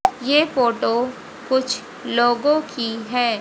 ये फोटो कुछ लोगों की है।